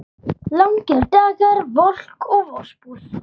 Langir dagar, volk og vosbúð.